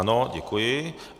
Ano, děkuji.